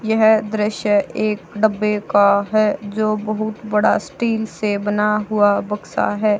यह दृश्य एक डब्बे का है जो बहुत बड़ा स्टील से बना हुआ बक्सा है।